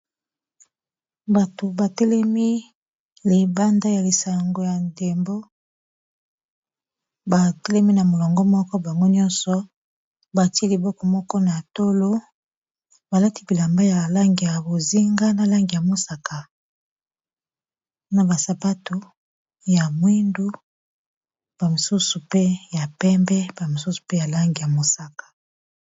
Bato batelemi libanda ya lisango ya ndembo ba telemi na molongo moko bango nyonso, batia liboko moko na tolo balati bilamba ya langi ya bozinga na langi ya mosaka na bas sapato ya mwindu ba mosusu mpe ya pembe ba mosusu mpe na langi ya mosaka.